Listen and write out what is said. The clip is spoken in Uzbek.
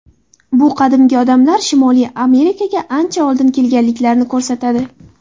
Bu qadimgi odamlar Shimoliy Amerikaga ancha oldin kelganliklarini ko‘rsatadi.